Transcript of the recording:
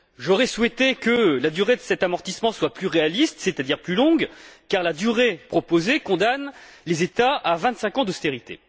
J'aurais souhaité que la durée de cet amortissement soit plus réaliste, c'est à dire plus longue, car la durée proposée condamne les États à vingt cinq ans d'austérité.